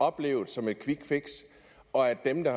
opleves som et kvikfix og at dem der